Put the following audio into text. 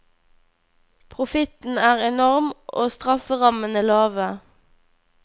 Profitten er enorm, og strafferammene lave.